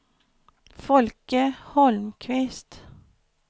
Folke Holmqvist